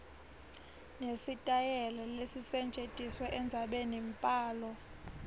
nesitayela lesisetjentisiwe endzabenimbhalo